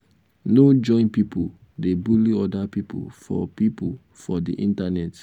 no join pipo dey bully oda pipo for pipo for di internet